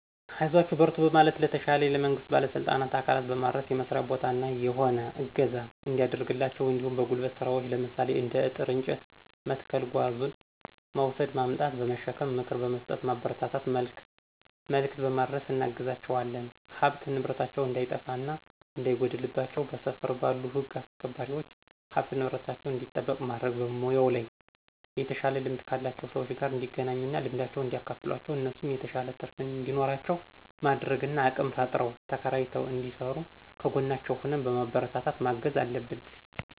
አይዟችሁ በርቱ በማለትና ለተሻለ ለመንግስት ባለስልጣን አካላት በማድረስ የመስርያ ቦታ እና የሆነ እገዛ እንዲያደርግላቸው እንዲሁም በጉልበት ስራዎች ለምሳሌ እንደ አጥር፤ እንጨት መትከል ጓዙን መውስድ ማምጣት/በመሸከም ምክር በምስጠት ማበረታታት መልክት በማድረስ እናግዛቸዋለን። ሀብት ንብረታቸው እንዳይጠፋ እና እንዳይጎድልባቸው በስፍር ባሉ ህግ አስክባሪዎች ሀብት ንብረታቸው እንዲጠበቅ ማድረግ። በሙያው ላይ የተሻለ ልምድ ካላቸው ሰዎች ጋር እንዲገናኙ እና ልምዳቸውን እንዲያካፍሏቸው እነሱም የተሻለ ትርፍ እንዲኖራቸው ማድረግ እና አቅም ፈጥረው ተከራይተው እንዲስሩ ከጎናቸው ሁነን በማበረታታት ማገዝ አለብን።